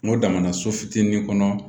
N ko damana so fitinin kɔnɔ